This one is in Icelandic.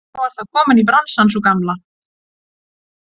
Hún var þá komin í bransann sú gamla!